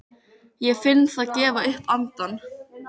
Ég finn það gefa upp andann.